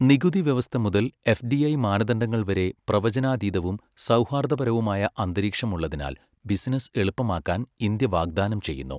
നികുതി വ്യവസ്ഥ മുതൽ എഫ്ഡിഐ മാനദണ്ഡങ്ങൾ വരെ പ്രവചനാതീതവും സൗഹാർദ്ദപരവുമായ അന്തരീക്ഷം ഉള്ളതിനാൽ ബിസിനസ്സ് എളുപ്പമാക്കാൻ ഇന്ത്യ വാഗ്ദാനം ചെയ്യുന്നു.